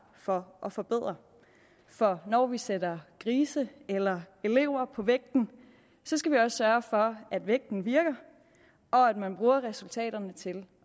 for at forbedre for når vi sætter grise eller elever på vægten skal vi også sørge for at vægten virker og at man bruger resultaterne til